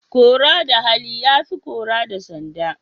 Kora da hali ya fi kora da sanda.